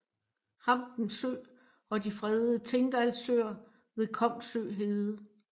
Hampen Sø og de fredede Tingdalsøer ved Kongsø Hede